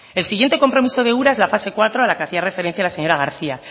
el siguiente compromiso de ura es la fase cuarto a la que hacía referencia la señora garcía